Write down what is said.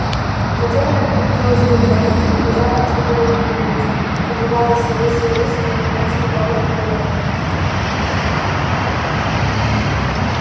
затем она переходила с рук на руки и лизала чьи-то руки и лица подвигалась всё выше и выше и наконец попала на галёрку